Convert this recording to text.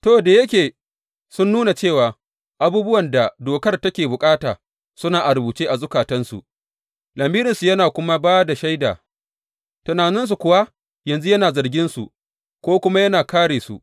To, da yake sun nuna cewa abubuwan da dokar take bukata suna a rubuce a zukatansu, lamirinsu yana kuma ba da shaida, tunaninsu kuwa yanzu yana zarginsu ko kuma yana kāre su.